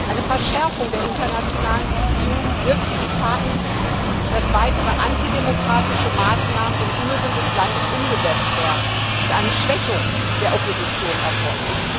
Eine Verschärfung der internationalen Beziehungen birgt die Gefahr in sich, dass weitere antidemokratische Maßnahmen im Inneren des Landes umgesetzt werden und eine Schwächung der Opposition erfolgt.